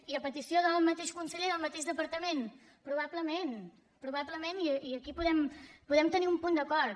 i a petició del mateix conseller del mateix departament probablement probablement i aquí podem tenir un punt d’acord